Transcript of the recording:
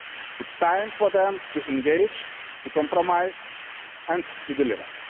It is time for them to engage, to compromise and to deliver.